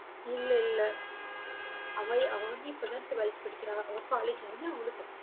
இல்லை இல்லை. அவளே அவ வந்து, இப்பதான் twelfth படிக்கிறா அவ college வந்தவுடனே அவளும் கத்துப்பா